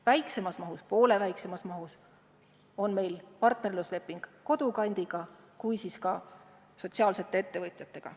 Väiksemas mahus – poole väiksemas mahus – on meil partnerlusleping Kodukandiga ja ka sotsiaalsete ettevõtjatega.